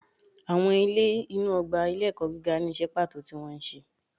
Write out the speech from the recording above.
Awọn ilé inu ogba ilé ẹkọ gígá ni iṣẹ pato tí wón ṣe